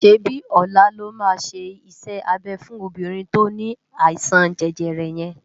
ṣébi ólá lò má ṣé isè-ábé fún óbirin tó ni áisan jèjèrè yén